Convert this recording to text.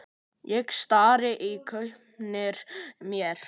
Ég stari í gaupnir mér.